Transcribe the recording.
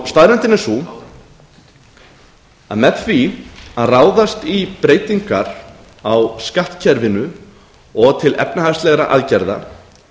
staðreyndin er sú að með því að ráðast í breytingar á skattkerfinu og til efnahagslegra aðgerða